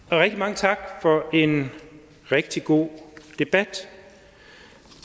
rigtig mange tak for en rigtig god debat